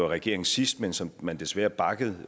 regering sidst men som man desværre bakkede